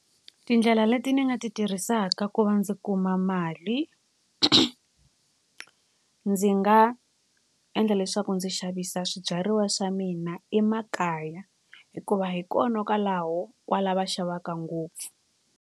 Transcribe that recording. Tindlela leti ni nga ti tirhisaka ku va ndzi kuma mali ndzi nga endla leswaku ndzi xavisa swibyariwa swa mina emakaya hikuva hi kona kwalaho kwala va xavaka ngopfu.